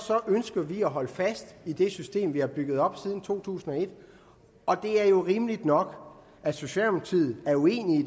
ønsker vi at holde fast i det system vi har bygget op siden to tusind og et og det er jo rimeligt nok at socialdemokratiet er uenig